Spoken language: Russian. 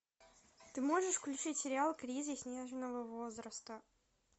ты можешь включить сериал кризис нежного возраста